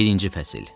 Birinci fəsil.